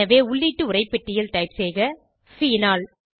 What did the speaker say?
எனவே உள்ளீட்டு உரைப்பெட்டியில் டைப்செய்கphenol